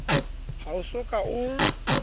ha o so ka o